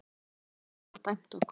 Bjarnanes var dæmt okkur!